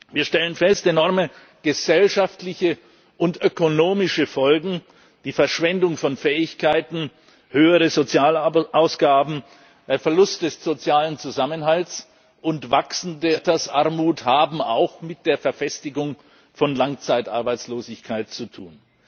Wir stellen fest, enorme gesellschaftliche und ökonomische Folgen, die Verschwendung von Fähigkeiten, höhere Sozialausgaben, der Verlust des sozialen Zusammenhalts und wachsende Altersarmut haben auch mit der Verfestigung von Langzeitarbeitslosigkeit zu tun.